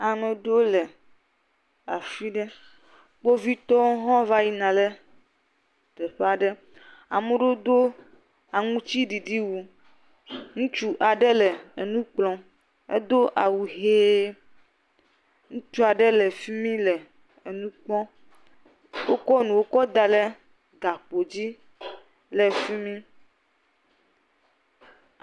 Ame aɖewo le afi ɖe. Kpovitɔ hã va yina ɖe teƒe aɖe. ame aɖewo do awu aŋutiɖiɖi. Ŋutsu aɖe le nu kplɔm, edo awu ʋie, ŋutsu aɖe le fi mi le nu kpɔm. Wokɔ nuwo kɔ da ɖe gakpo dzi le fi mi.